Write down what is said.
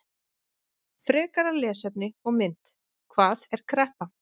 Frekara lesefni og mynd: Hvað er kreppa?